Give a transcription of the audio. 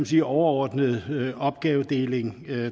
sige overordnede opgavedeling